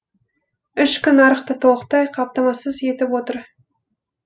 ішкі нарықты толықтай қамтамасыз етіп отыр